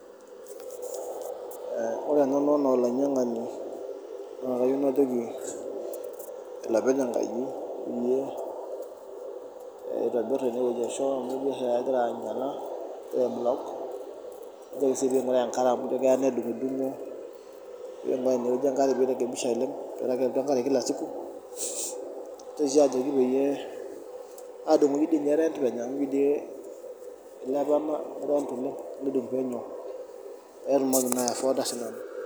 Ee nanu enaa olainyiang'ani naa kajoki olopeny enkaji peyie itobirr enewueji arashu amu egira oshi taata ainyiala egira ai block najoki sii pee ing'uraa enkare amu keya nedung'udung'o pee ing'uraa inewueji enkare pee irekebisha oleng' peeku kelotu enkare kila siku, naitoki sii ajoki peyie aadung'oki toi ninye rent penyo amu ijio doi kilepa ena rent oleng' nedung' penyo pee atumoki naa ai afford sinanu.